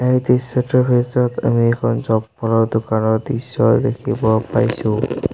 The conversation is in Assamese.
এই দৃশ্যটোৰ ভিতৰত আমি এখন চপ্পলৰ দোকানৰ দৃশ্য দেখিব পাইছোঁ।